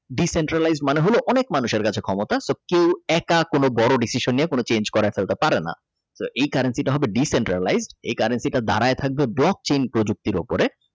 The centralize মানে হল অনেক মানুষের কাছে ক্ষমতা তো কেউ একা কোন বড় decision নিয়ে কোন change করাইয়া ফেলতে পারে না তো এই কারণ সেটা হবে The centralize এ কারণ সেটা দাঁড়িয়ে থাকবে Brock chin প্রযুক্তি এর উপরে।